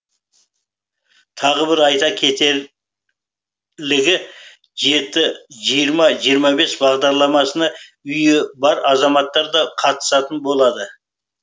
тағы бір айта кетер жеті жиырма жиырма бес бағдарламасына үйі бар азаматтар да қатысатын болады